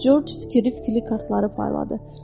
Corc fikiri-fikiri kartları payladı.